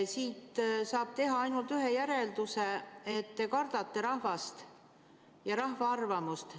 Siit saab teha ainult ühe järelduse: te kardate rahvast ja rahva arvamust.